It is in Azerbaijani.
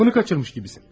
Aklını kaçırmış gibisin.